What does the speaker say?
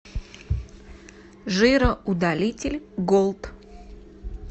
жироудалитель голд